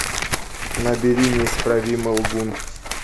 набери неисправимый лгун